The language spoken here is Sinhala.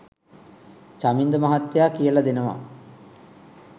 චමින්ද මහත්තයා කියලා දෙනවා